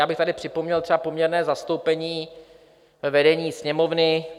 Já bych tady připomněl třeba poměrné zastoupení ve vedení Sněmovny.